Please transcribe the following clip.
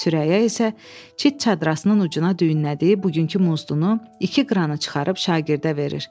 Sürəyya isə çit çadrasının ucuna düyünlədiyi bugünkü muzdunu iki qranı çıxarıb şagirdə verir.